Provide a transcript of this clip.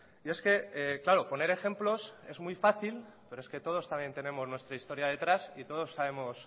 y es que claro poner ejemplos es muy fácil pero es que todos también tenemos nuestra historia detrás y todos sabemos